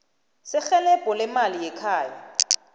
serhelebho leemali lekhaya